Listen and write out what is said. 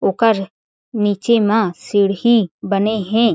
ओकर आगे-पीछे कांच के शीशा ह लगे हें।